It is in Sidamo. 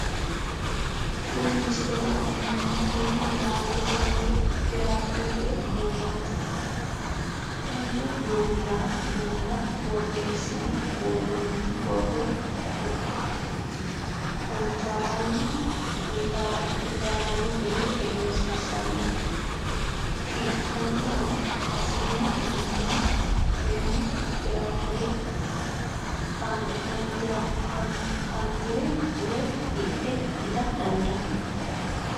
Kuni misilete la'neemohu, kuni laalote woyi firafirete duunoti, tene duunora borreesine woronitti boro konataranni gede egensiisano konirano hasirano mani tene firafire kanatare woyi hidhe itta dandaano